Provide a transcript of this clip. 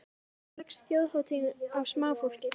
En hvernig leggst þjóðhátíðin í smáfólkið?